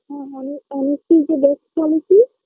হ্যাঁ মানে honesty is a best policy